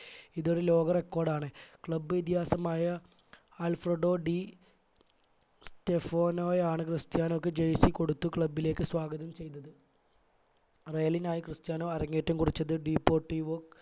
ഇതൊരു ലോക record ആണ് club ഇതിഹാസമായ ആല്ഫെർഡോ ഡി സ്റ്റഫോണോയാണ് ക്രിസ്റ്യാനോക്ക് jersey കൊടുത്ത് club ലേക് സ്വാഗതം ചെയ്തത് real നായി ക്രിസ്ത്യാനോ അരങ്ങേറ്റം കുറിച്ചത് ഡിഫോർടിഓ